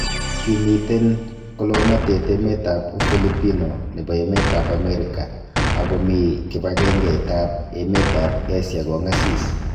Kimiten kolonotet emet ab Ufilipino nebo emet ab Amerika ago mii kibang'eng'et ab emet ab Asia kong'asis.